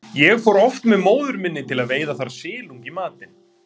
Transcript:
Ég fór oft með móður minni til að veiða þar silung í matinn.